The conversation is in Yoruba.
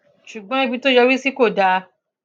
ṣùgbọn ibi tó yọrí sí kò dáa